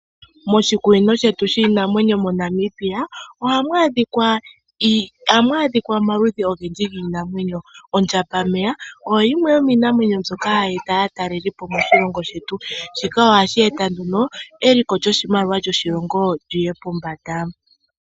Moshikunino shetu shiinamwenyo moNamibia ohamu adhika omaludhi ogendji giinammwenyo. Ondjambameya oyo yimwe yomiinamwenyo ndyoka hayi eta aatalelipo moshilongo shetu shika ohashi eta eliko lyoshimaliwa lyoshilongo liye pombanda.